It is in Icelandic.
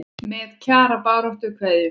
Með Kjara baráttu kveðju.